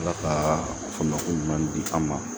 Ala ka faamu ko ɲuman di an ma